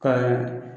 Ka